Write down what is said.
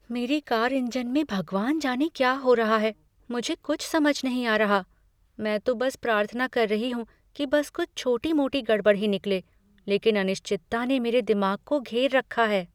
मेरी car engine में भगवान जाने क्या हो रहा है, मुझे कुछ समझ नहीं आ रहा! मैं तो बस प्रार्थना कर रही हूँ कि बस कुछ छोटी मोटी गड़बड़ ही निकले लेकिन अनिश्चितता ने मेरे दिमाग को घेर रखा है।